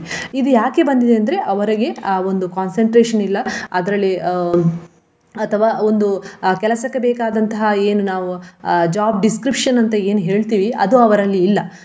ಇದು ಯಾಕೆ ಬಂದಿದೆ ಅಂದ್ರೆ ಅವರಿಗೆ ಆ ಒಂದು concentration ಇಲ್ಲ ಅದರಲ್ಲಿ ಅಹ್ ಅಥವಾ ಒಂದು ಆ ಕೆಲಸಕ್ಕೆ ಬೇಕಾದಂತಹ ಏನು ನಾವು ಅಹ್ job description ಅಂತ ಏನ್ ಹೇಳ್ತೀವಿ ಅದು ಅವರಲ್ಲಿ ಇಲ್ಲ.